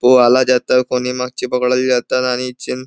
वो आला जात कोणी जातं आणि चिन --